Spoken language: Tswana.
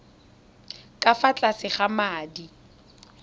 ka fa tlase ga madi